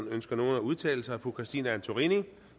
ønsker nogen at udtale sig fru christine antorini